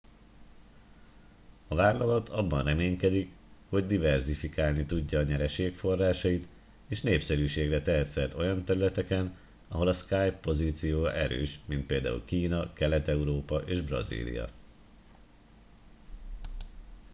a vállalat abban reménykedik hogy diverzifikálni tudja nyereségforrásait és népszerűségre tehet szert olyan területeken ahol a skype pozíciója erős mint például kína kelet európa és brazília